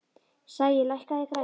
Sæi, lækkaðu í græjunum.